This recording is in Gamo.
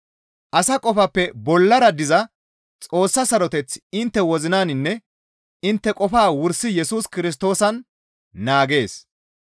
Asa qofappe bollara diza Xoossa saroteththi intte wozinanne intte qofaa wursi Yesus Kirstoosan naagees.